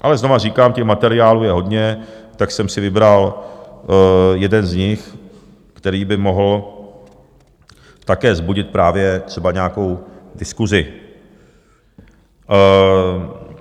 Ale znovu říkám, těch materiálů je hodně, tak jsem si vybral jeden z nich, který by mohl také vzbudit právě třeba nějakou diskusi.